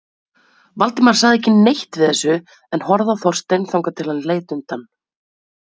Valdimar sagði ekki neitt við þessu en horfði á Þorstein þangað til hann leit undan.